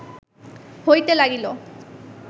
হইতে লাগিল